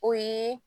O ye